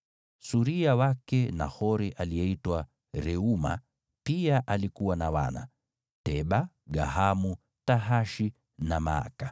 Suria wake Nahori aliyeitwa Reuma pia alikuwa na wana: Teba, Gahamu, Tahashi na Maaka.